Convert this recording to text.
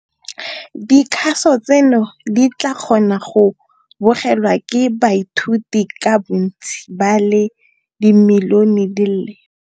Dikgaso tseno di tla kgona go bogelwa ke baithuti ka bontsi ba le dimilione di le